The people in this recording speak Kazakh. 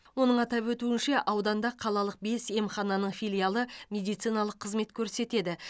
оның атап өтуінше ауданда қалалық бес емхананың филиалы медициналық қызмет көрсетеді